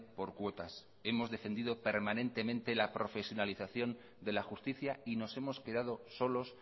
por cuotas hemos defendido permanente la profesionalización de la justicia y no s hemos quedado solos